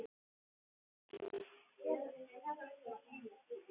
Ekki yfir þeim sem ætti að þusa.